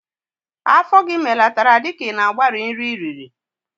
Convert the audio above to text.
Afọ gị melatara dika ị na-agbari nri ị riri.